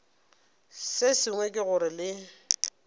se sengwe ke gore le